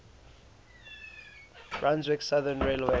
brunswick southern railway